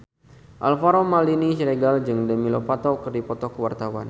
Alvaro Maldini Siregar jeung Demi Lovato keur dipoto ku wartawan